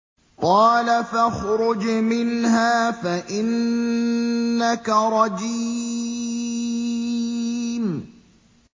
قَالَ فَاخْرُجْ مِنْهَا فَإِنَّكَ رَجِيمٌ